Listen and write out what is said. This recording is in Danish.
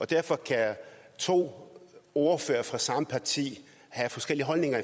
derfor kan to ordførere fra samme parti have forskellige holdninger